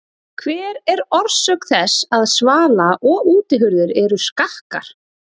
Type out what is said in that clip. Hver er orsök þess að svala- og útihurðir eru skakkar?